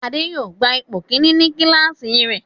Ade yóò gba ipò kìíní ní kíláàsì rẹ̀.